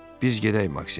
Biz gedək Maksim.